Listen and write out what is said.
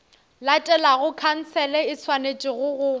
latelago khansele e swanetše go